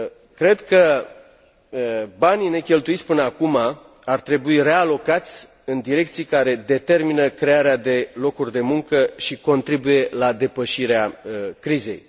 cred că banii necheltuiți până acum ar trebui realocați în direcții care determină crearea de locuri de muncă și contribuie la depășirea crizei.